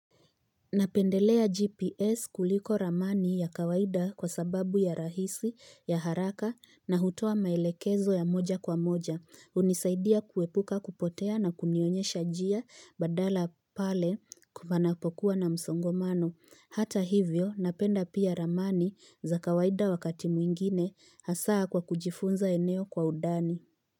Napendelea gps kuliko ramani ya kawaida kwa sababu ya rahisi ya haraka na hutoa maelekezo ya moja kwa moja unisaidia kuepuka kupotea na kunionyesha jia badala pale kupanapokuwa na msongomano hata hivyo napenda pia ramani za kawaida wakati mwingine hasa kwa kujifunza eneo kwa udani.